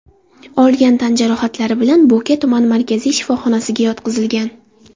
olgan tan jarohatlari bilan Bo‘ka tuman markaziy shifoxonasiga yotqizilgan.